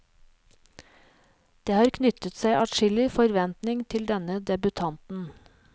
Det har knyttet seg adskillig forventning til denne debutanten.